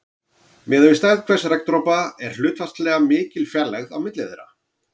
Miðað við stærð hvers regndropa er hlutfallslega mikil fjarlægð á milli þeirra.